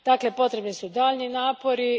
Dakle, potrebni su daljnji napori.